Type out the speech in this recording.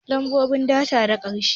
Lambobi bata da ƙarshe